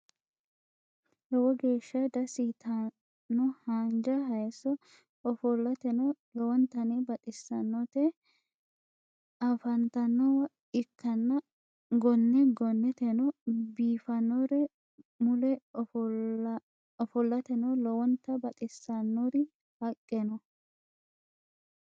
lowo geesha dasi yitanno haanja hayiso ofolatenno lowonnitanni baxisannoti afannitanowa ikanna gonne gonneteno biifanori mulle ofolatenno lowonta baxisanori haqe no.